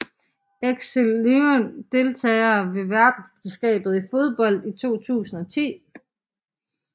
Excelsior Deltagere ved verdensmesterskabet i fodbold 2010